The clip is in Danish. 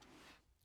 DR1